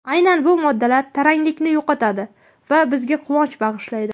Aynan bu moddalar taranglikni yo‘qotadi va bizga quvonch bag‘ishlaydi.